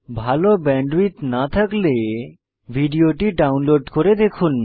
ভাল ব্যান্ডউইডথ না থাকলে ভিডিওটি ডাউনলোড করে দেখুন